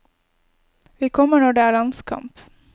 Vi kommer når det er landskamp.